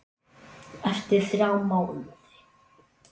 Eftir þrjá mánuði?